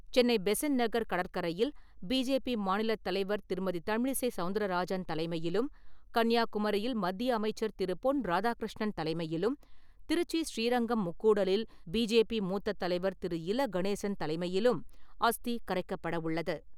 சென்னை பெசன்ட் நகர் கடற்கரையில் பிஜேபி மாநிலத் தலைவர் திருமதி தமிழிசை சவுந்தரராஜன் தலைமையிலும், கன்னியாகுமரியில் மத்திய அமைச்சர் திரு. பொன் ராதாகிருஷ்ணன் தலைமையிலும், திருச்சி ஸ்ரீரங்கம் முக்கூடலில் பிஜேபி மூத்தத் தலைவர் திரு. இல. கணேசன் தலைமையிலும் அஸ்தி கரைக்கப்பட உள்ளது.